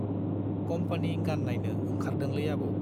Company गान नाइनो ओंखारदोंलै आबौ।